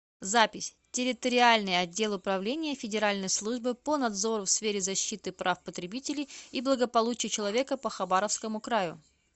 запись территориальный отдел управления федеральной службы по надзору в сфере защиты прав потребителей и благополучия человека по хабаровскому краю